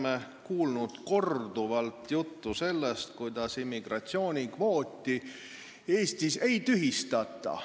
Me oleme korduvalt kuulnud juttu sellest, kuidas immigratsioonikvooti Eestis ei tühistata.